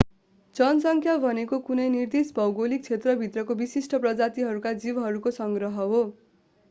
जनसङ्ख्या भनेको कुनै निर्दिष्ट भौगोलिक क्षेत्र भित्रका विशिष्ट प्रजातिहरूका जीवहरूको संग्रह हो